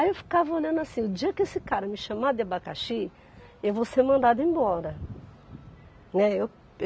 Aí eu ficava olhando assim, o dia que esse cara me chamar de abacaxi, eu vou ser mandada embora. Né, eu